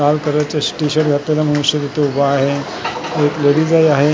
लाल कलरचा T shirt घातलेला माणूस एक इथे उभा आहे एक लेडीज ही आहे.